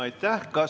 Aitäh!